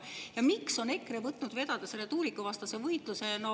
Ja miks on EKRE võtnud vedada selle tuulikuvastase võitluse?